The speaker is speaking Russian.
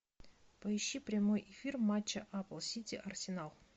поищи прямой эфир матча апл сити арсенал